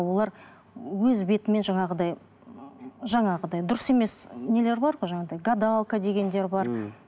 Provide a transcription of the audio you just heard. олар өз бетімен жаңағыдай ыыы жаңағыдай дұрыс емес нелер бар ғой жаңағыдай гадалка дегендер бар ммм